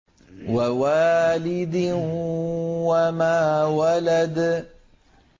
وَوَالِدٍ وَمَا وَلَدَ